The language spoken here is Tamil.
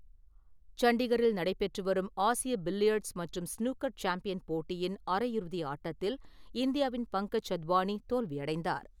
சண்டிகரில் நடைபெற்றுவரும் ஆசிய பில்லியர்ட்ஸ் மற்றும் ஸ்னூக்கர் சாம்பியன் போட்டியின் அரையிறுதி ஆட்டத்தில் இந்தியாவின் பங்கஜ் அத்வானி தோல்வியடைந்தார்.